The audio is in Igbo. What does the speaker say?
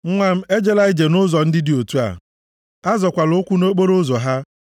Nwa m, ejela ije nʼụzọ ndị dị otu a, a zọọkwala ụkwụ nʼokporoụzọ ha;